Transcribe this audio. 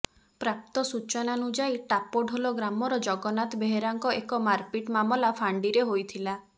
ପ୍ରାପ୍ତ ସୂଚନାନୁଯାୟୀ ଟାପଢୋଲ ଗ୍ରାମର ଜଗନ୍ନାଥ ବେହେରାଙ୍କ ଏକ ମାରପିଟ୍ ମାମଲା ଫାଣ୍ଡିରେ ହୋଇଥିଲା